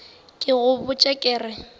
ke go botša ke re